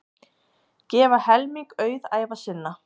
Gefa helming auðæfa sinna